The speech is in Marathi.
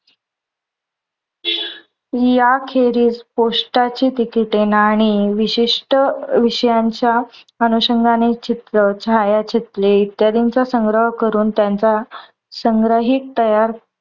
या खेरीस पोष्टाची तिकिटे, नाणी, विशिष्ट विषयानच्या अनुषन्गाने चित्र, छायाचित्रे इत्यादींचा संग्रह करून त्यांचा संग्रहित तयार